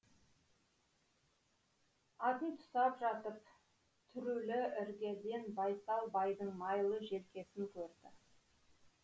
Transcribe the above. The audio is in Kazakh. атын тұсап жатып түрулі іргеден байсал байдың майлы желкесін көрді